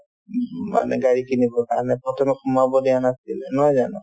ম্ম~ মানে গাড়ী কিনিবৰ কাৰণে প্ৰথমে সোমাব দিয়া নাছিলে নহয় জানো